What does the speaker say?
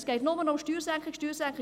Es geht nur noch um Steuersenkung.